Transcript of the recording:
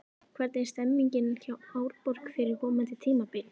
Hvernig er stemningin hjá Árborg fyrir komandi tímabil?